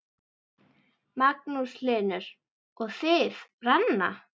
Magnús Hlynur: Og þið, Ranna?